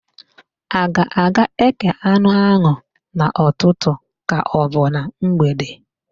A ga-aga ékè anụ áhụ̀ n'ụtụtụ kaọbụ na mgbede?